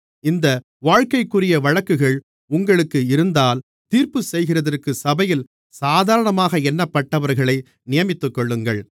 இந்த வாழ்க்கைக்குரிய வழக்குகள் உங்களுக்கு இருந்தால் தீர்ப்புச்செய்கிறதற்கு சபையில் சாதாரணமாக எண்ணப்பட்டவர்களை நியமித்துக்கொள்ளுங்கள்